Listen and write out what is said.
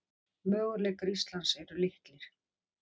Möguleikar Íslands eru litlir